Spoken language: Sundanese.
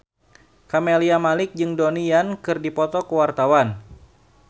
Camelia Malik jeung Donnie Yan keur dipoto ku wartawan